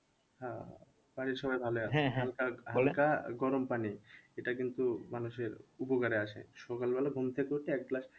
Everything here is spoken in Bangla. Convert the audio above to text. হ্যাঁ বাড়ির সবাই ভালোই গরম পানি এটা কিন্তু মানুষের উপকারে আসে সকালবেলা ঘুম থেকে উঠে এক glass